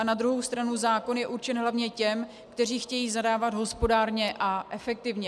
A na druhou stranu zákon je určen hlavně těm, kteří chtějí zadávat hospodárně a efektivně.